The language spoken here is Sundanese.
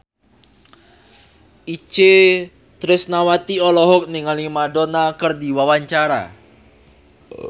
Itje Tresnawati olohok ningali Madonna keur diwawancara